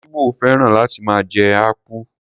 Igbo féràn láti máa jẹ akpu.